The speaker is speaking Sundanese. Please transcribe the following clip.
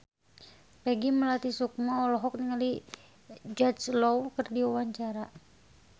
Peggy Melati Sukma olohok ningali Jude Law keur diwawancara